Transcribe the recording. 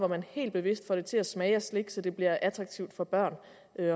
man helt bevidst får til at smage af slik så det bliver attraktivt for børn